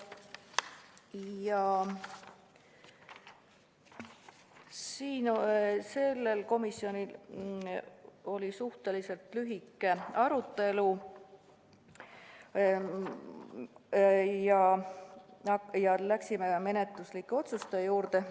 Sellel istungil oli suhteliselt lühike arutelu ja me läksime menetluslike otsuste juurde.